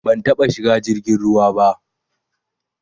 Ban taba shiga jirgin ruwa ba